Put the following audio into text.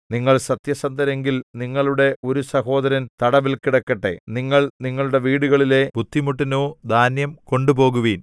നിങ്ങൾ സത്യസന്ധരെങ്കിൽ നിങ്ങളുടെ ഒരു സഹോദരൻ തടവിൽ കിടക്കട്ടെ നിങ്ങൾ നിങ്ങളുടെ വീടുകളിലെ ബുദ്ധിമുട്ടിനു ധാന്യം കൊണ്ടുപോകുവിൻ